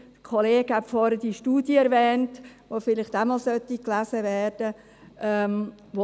Ein Kollege hat vorhin die Studie erwähnt, die vielleicht auch noch gelesen werden sollte.